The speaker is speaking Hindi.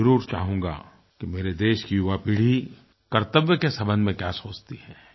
मैं ज़रूर चाहूँगा कि मेरे देश की युवा पीढ़ी कर्तव्य के संबंध में क्या सोचती है